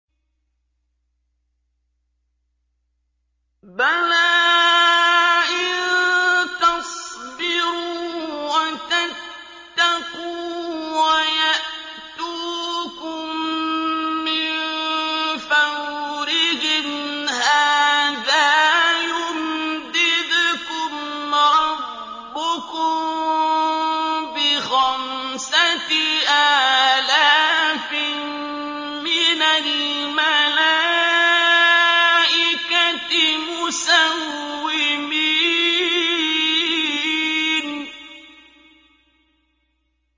بَلَىٰ ۚ إِن تَصْبِرُوا وَتَتَّقُوا وَيَأْتُوكُم مِّن فَوْرِهِمْ هَٰذَا يُمْدِدْكُمْ رَبُّكُم بِخَمْسَةِ آلَافٍ مِّنَ الْمَلَائِكَةِ مُسَوِّمِينَ